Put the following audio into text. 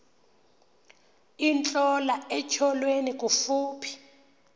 intlola etyholweni kufuphi